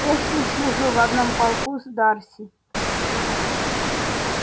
эшли служил в одном полку с дарси